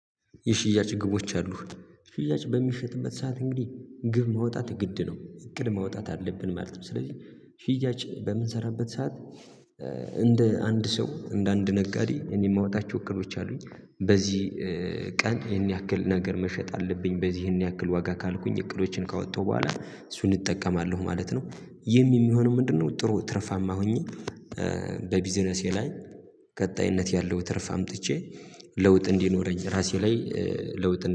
የሽያጭ ግቦች አሉህ? ሽያጭ በሚሸጥበት ሰዓት እንግዲህ ግብ ማውጣት ግድ ነው እቅድ ማውጣት አለብን ማለት ነው። ስለዚህ ሽያጭ በምንሰራበት ሰዓት እንደ አንድ ሰው እንደ አንድ ነጋዴ እኔ የማወጣቸው እቅዶች አሉኝ። በዚህ ቀን ይሄን ያክል ነገር መሸጥ አለብኝ በዚህ ይሄን ያክል ዋጋ ካልኩኝ እቅዶችን ካወጣሁ በኋላ እሱን እጠቀማለሁ ማለት ነው። ይህም የሚሆነው ምንድነው? ጥሩ ትርፋማ ሆኜ በቢዝነሴ ላይ ቀጣይነት ያለው ትርፍ አምጥቼ ለውጥ እንዲኖረኝ ራሴ ላይ ለውጥ